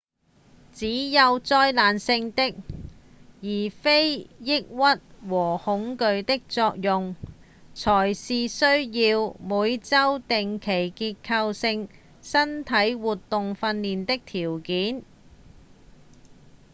只有災難性的而非抑鬱和恐懼的作用才是需要每週定期結構性身體活動訓練的條件